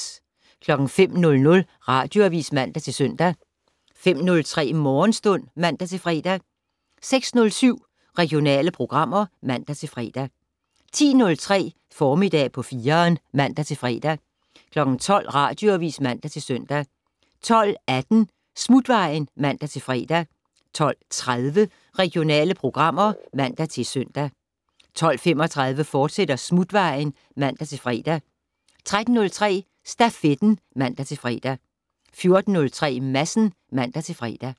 05:00: Radioavis (man-søn) 05:03: Morgenstund (man-fre) 06:07: Regionale programmer (man-fre) 10:03: Formiddag på 4'eren (man-fre) 12:00: Radioavis (man-søn) 12:18: Smutvejen (man-fre) 12:30: Regionale programmer (man-søn) 12:35: Smutvejen, fortsat (man-fre) 13:03: Stafetten (man-fre) 14:03: Madsen (man-fre)